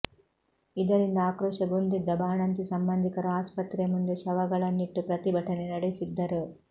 ಇದರಿಂದ ಆಕ್ರೋಶಗೊಂಡಿದ್ದ ಬಾಣಂತಿ ಸಂಬಂಧಿಕರು ಆಸ್ಪತ್ರೆಯ ಮುಂದೆ ಶವಗಳನ್ನಿಟ್ಟು ಪ್ರತಿಭಟನೆ ನಡೆಸಿದ್ದರು